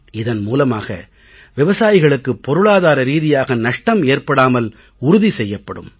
இதன் மூலமாக விவசாயிகளுக்கு பொருளாதார ரீதியாக நஷ்டம் ஏற்படாமல் உறுதி செய்யப்படும்